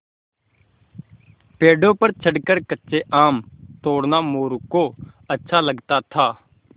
पेड़ों पर चढ़कर कच्चे आम तोड़ना मोरू को अच्छा लगता था